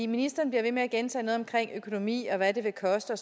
ministeren bliver ved med at gentage noget om økonomi og hvad det vil koste og